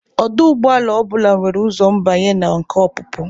Ọdụ ụgbọala ọ bụla nwere ụzọ mbanye na nke ọpụpụ.